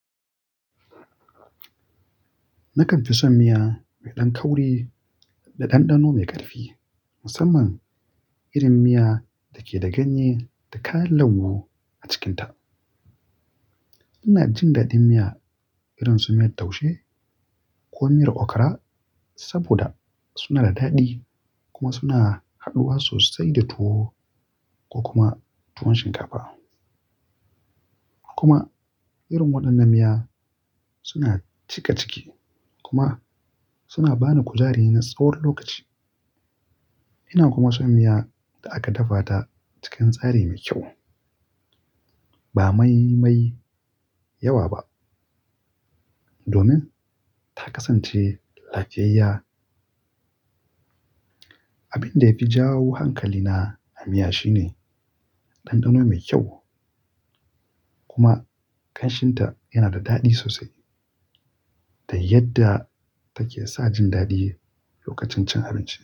Nakan fi son miya mai ɗan kauri da ɗanɗano mai ƙarfi, musamman irin miya da ke da ganye da kayan lambu a cikinta. Ina jin daɗin miya irin su miyar taushe ko miyar okara saboda suna da daɗi kuma suna haɗuwa sosai da tuwo ko kuma tuwon shinkafa. Kuma irin waɗannan miya suna cika ciki kuma suna ba ni kujari na tsawon lokaci. Ina kuma son miya da aka dafa ta cikin tsari mai kyau, ba mai mai yawa ba domin ta kasance lafiyayya. Abin da ya fi jawo hankalina a miya shine ɗanɗano mai kyau kuma ƙanshinta yana da daɗi sosai da yadda take sa jin daɗi lokacin cin abinci.